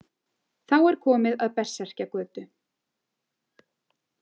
Þá er komið að Berserkjagötu.